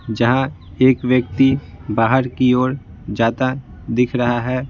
जहां एक व्यक्ति बाहर की ओर जाता दिख रहा है।